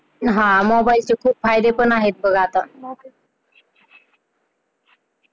हा आणि मोबाइल चे खूप फायदे पण आहेत बघ आता .